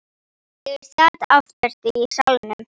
Ég sat aftast í salnum.